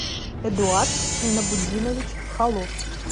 эдуард минабутдинович холов